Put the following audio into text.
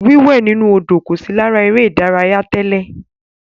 Wíwẹ̀ inú Odò kò sí lára eré ìdárayá tẹ́lẹ̀.